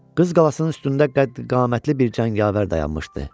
Qız qalasının üstündə qəddi-qamətli bir cəngavər dayanmışdı.